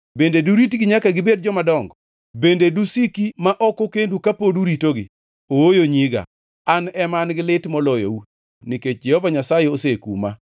bende duritgi nyaka gibed jomadongo? Bende dusiki ma ok okendu kapod uritogi? Ooyo, nyiga. An ema an-gi lit moloyou, nikech Jehova Nyasaye osekuma!”